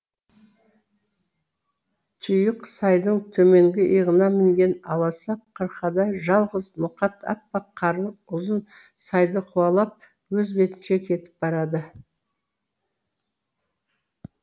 тұйық сайдың төменгі иығына мінген аласа қырқада жалғыз ноқат аппақ қарлы ұзын сайды қуалап өз бетінше кетіп барады